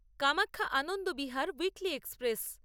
Kamakhya Anand Vihar weekly express